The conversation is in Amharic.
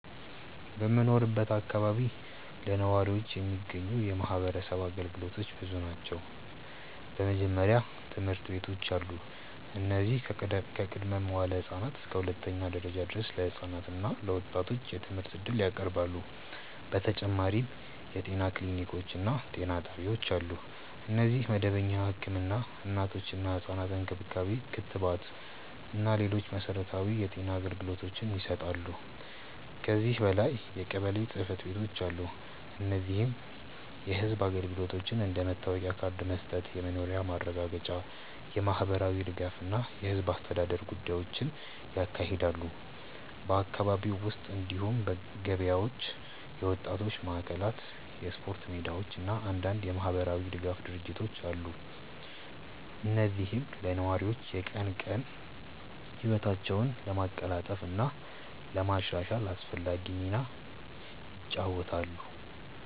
በምኖርበት አካባቢ ለነዋሪዎች የሚገኙ የማህበረሰብ አገልግሎቶች ብዙ ናቸው። በመጀመሪያ ትምህርት ቤቶች አሉ፣ እነዚህም ከቅድመ-መዋዕለ ህፃናት እስከ ሁለተኛ ደረጃ ድረስ ለህፃናት እና ለወጣቶች የትምህርት እድል ያቀርባሉ። በተጨማሪም የጤና ክሊኒኮች እና ጤና ጣቢያዎች አሉ፣ እነዚህም መደበኛ ህክምና፣ እናቶችና ህፃናት እንክብካቤ፣ ክትባት እና ሌሎች መሠረታዊ የጤና አገልግሎቶችን ይሰጣሉ። ከዚህ በላይ የቀበሌ ጽ/ቤቶች አሉ፣ እነዚህም የህዝብ አገልግሎቶችን እንደ መታወቂያ ካርድ መስጠት፣ የመኖሪያ ማረጋገጫ፣ የማህበራዊ ድጋፍ እና የህዝብ አስተዳደር ጉዳዮችን ያካሂዳሉ። በአካባቢው ውስጥ እንዲሁም ገበያዎች፣ የወጣቶች ማዕከላት፣ የስፖርት ሜዳዎች እና አንዳንድ የማህበራዊ ድጋፍ ድርጅቶች አሉ፣ እነዚህም ለነዋሪዎች የቀን ቀን ህይወታቸውን ለማቀላጠፍ እና ለማሻሻል አስፈላጊ ሚና ይጫወታሉ።